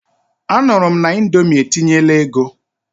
Anụrụ m na Indomi etinyela ego.